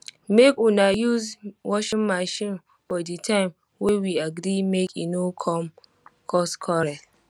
make una use washing machine for di time wey we agree make e no come cause quarrel